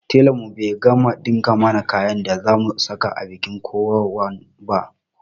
Telan mu bai gama ɗinka mana kayan da za mu saka a bikin kokawan ba